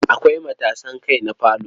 Akwai matasan kai na falo.